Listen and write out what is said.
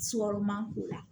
k'u la